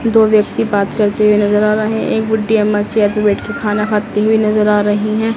दो व्यक्ति बात करते हुए नज़र आ रहे हैं एक बुड्ढी अम्मा चेयर पर बैठ कर खाना खाती हुई नज़र आ रही हैं।